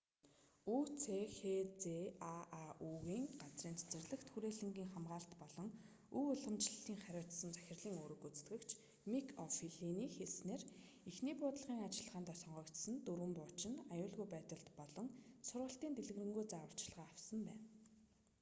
үцхзааү-ний газрын цэцэрлэгт хүрээлэнгийн хамгаалалт болон өв уламжлалыг харьуцсан захирлын үүрэг гүйцэтгэгч мик о'флиний хэлснээр эхний буудлагын ажиллагаанд сонгогдсон дөрвөн бууч нь аюулгүй байдал болон сургалтын дэлгэрэнгүй зааварчилгаа авсан байна